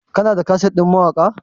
kana da kaset ɗin mawaka?